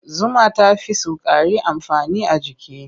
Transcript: Zuma ta fi sukari amfani a jiki.